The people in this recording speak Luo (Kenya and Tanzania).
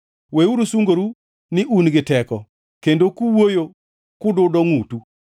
Weuru sungoru ni un gi teko, kendo kuwuoyo kududo ngʼutu.’ ”